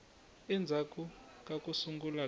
endzhaku ka ku sungula ka